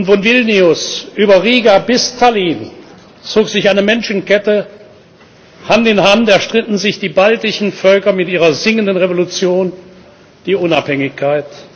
Von Vilnius über Riga bis Tallinn zog sich eine Menschenkette, Hand in Hand erstritten sich die baltischen Völker mit ihrer Singenden Revolution die Unabhängigkeit.